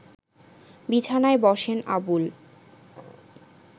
বিছানায় বসেন আবুল